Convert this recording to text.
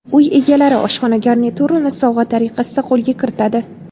Uy egalari oshxona garniturini sovg‘a tariqasida qo‘lga kiritadi.